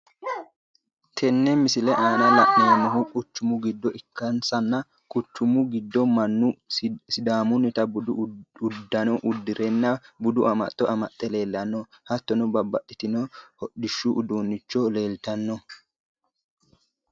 Tene misile aanna la'neemohu quchumu gido ikasinna quchumu gidono Manu sidaamunita budu udano udirenna budu amaxo amaxe leelano hattono babbaxitino hodhishu uduunichuwa leelitano.